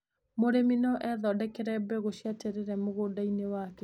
Mũrĩmi no ethondekere mbegũ cia terere mũgũnda-inĩ wake.